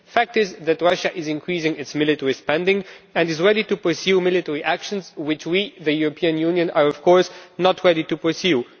The fact is that Russia is increasing its military spending and is ready to pursue military actions which we, the European Union, are of course not ready to pursue.